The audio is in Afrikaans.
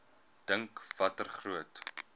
dink watter groot